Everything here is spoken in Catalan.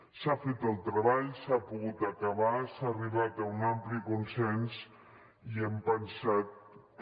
s’ha fet el treball i s’ha pogut acabar s’ha arribat a un ampli consens i hem pensat que